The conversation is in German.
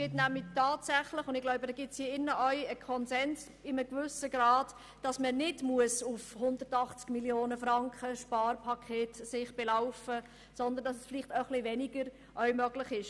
Ich denke, es besteht in diesem Saal der Konsens, dass das Sparpaket nicht genau 180 Mio. Franken betragen muss, sondern dass auch etwas weniger möglich ist.